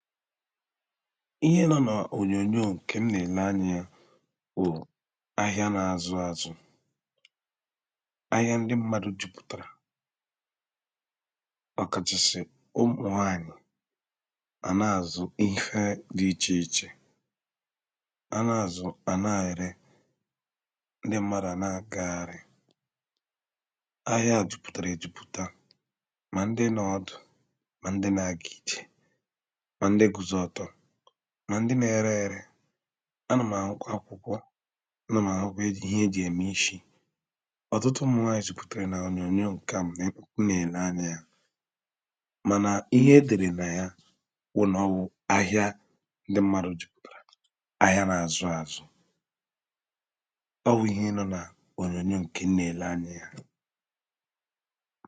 Ihe nọ̄ n’ònyòònyo ǹkè m nà-èle anyị̄ẹ̄ bụ̀ ahịa na-azụ āzụ̄ Ahịa ndị mmadụ̄ jupụ̀tàrà Ọkàchàsị̀ ụmụ̀nwaanyị̀ À nà-àzụ ihe dị̄ ichè ichè A na-àzụ́, à na-ẹ̀rẹ, ndị mmadụ̀ à na-àgagharị Ahịa jupụ̀tàrà èjupụ̀ta, mà ndị nọ ọdụ̀, mà ndị na-aga ijè Mà ndị guzo ọtọ, mà ndị na-ẹrẹ ẹ̄rẹ̄ Anà m̀ àhụkwa akwụkwọ, anà m̀ ̀àhụkwa ihe e jì ème ishī Ọ̀tụtụ ụmụ̀nwaànyị̀ jupụ̀tàrà ònyòonyò ǹke à m nà-èle anyị̄ẹ̄ Mànà ihe e dèrè nà ya bụ ̀nọ ọwụ̄ ahịa ndị mmadụ̄ jupùtàrà; ahịa na-azụ āzụ̄ Ọwụ̄ ihe nọ̄ n’ònyòonyò ǹkè m nà-èle anyị̄ẹ̄